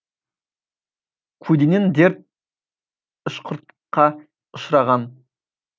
көлденең дерт ішқұртқа ұшыраған